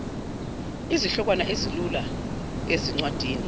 izihlokwana ezilula ezincwadini